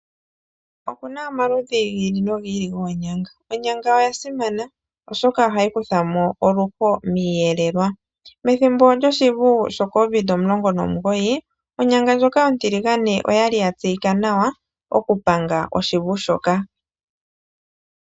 Oku na omaludhi gi ili nogi ili goonyanga. Onyanga oya simana, oshoka ohayi kutha mo oluho miiyelelwa. Methimbo lyoshivu shoCovid19, onyanga ndjoka ontiligane oya li ya tseyika nawa okupanga oshivu shoka.